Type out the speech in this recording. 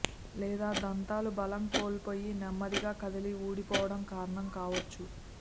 లేదా దంతాలు బలం కోల్పోయి నెమ్మ దిగా కదిలి ఊడిపోవడం కారణం కావచ్చు